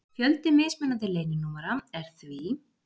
Fjöldi mismunandi leyninúmera er því: